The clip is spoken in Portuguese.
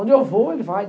Onde eu vou, ele vai.